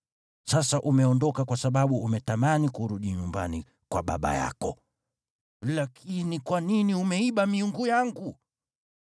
Sasa umeondoka kwa sababu umetamani kurudi nyumbani kwa baba yako. Lakini kwa nini umeiba miungu yangu?”